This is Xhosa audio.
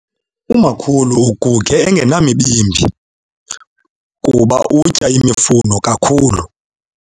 Umakhulu uguge engenamibimbi kuba utya imifuno kakhulu.